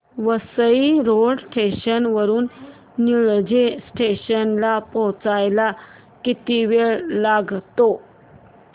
Vasai road station वरून Nilje station ला पोहचायला किती वेळ लागतो